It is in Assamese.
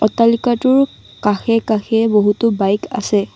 অট্টালিকাটোৰ কাষে কাষে বহুতো বাইক আছে।